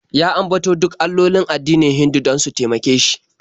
Ya ambato duk allolin addinin Hindu don su taimake shi.